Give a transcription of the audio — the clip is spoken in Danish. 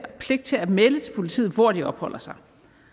pligt til at melde til politiet hvor de opholder sig